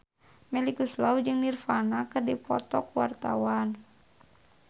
Melly Goeslaw jeung Nirvana keur dipoto ku wartawan